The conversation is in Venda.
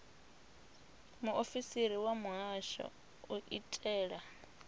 muofisiri wa muhasho u itela